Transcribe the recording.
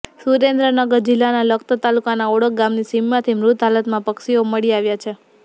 સુરેન્દ્રનગર જીલ્લાના લખતર તાલુકાના ઓળક ગામની સીમમાંથી મૃત હાલતમાં પક્ષીઓ મળી આવ્યા છે